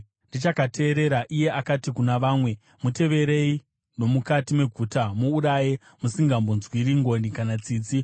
Ndichakateerera, iye akati kuna vamwe, “Muteverei nomukati meguta, muuraye, musingambonzwiri ngoni kana tsitsi.